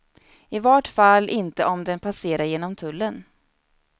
I vart fall inte om den passerar genom tullen.